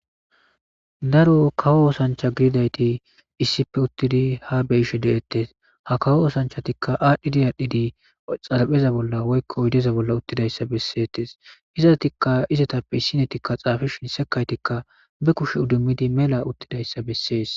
Daro kawo oosancha gididayti issipe uttidi ha beyishe de7ettes ha kawo oosanchatikka aadhdhidi aadhdhidi xarapheza bolla woykko ydeza bolla uttidayssa besseetes izatikka izetappe issinetikka xaafishin sekaytikka be kush udummidi mela uttidayssa bessees.